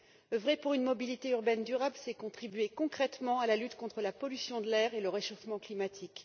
Oeuvrer pour une mobilité urbaine durable, c'est contribuer concrètement à la lutte contre la pollution de l'air et le réchauffement climatique.